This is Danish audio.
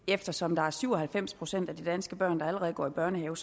eftersom der er syv og halvfems procent af de danske børn der allerede går i børnehave